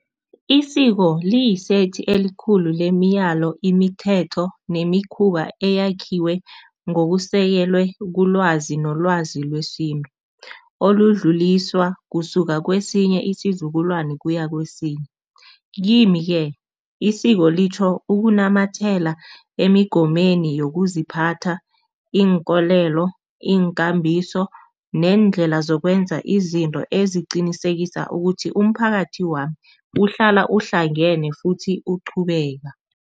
Isiko liyisethi elikhulu lemiyalo, imithetho nemikhuba eyakhiwe ngokusekelwe kulwazi nolwazi lwesintu, oludluliswa kusuka kwesinye isizukulwane kuya kwesinye. Kimi-ke isiko litjho ukunamathela emigomeni yokuziphatha, iinkolelo, iinkambiso neendlela zokwenza izinto eziqinisekisa ukuthi umphakathi wami uhlala uhlangene futhi uqhubeka.